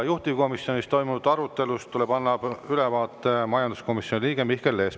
Juhtivkomisjonis toimunud arutelust tuleb annab ülevaate majanduskomisjoni liige Mihkel Lees.